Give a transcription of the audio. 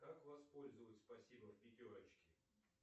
как воспользоваться спасибо в пятерочке